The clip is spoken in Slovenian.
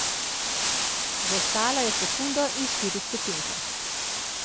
Zaostala je sekundo in štiri stotinke.